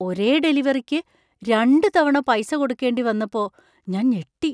ഒരേ ഡെലിവറിക്ക് രണ്ടുതവണ പൈസ കൊടുക്കേണ്ടി വന്നപ്പോ ഞാൻ ഞെട്ടി.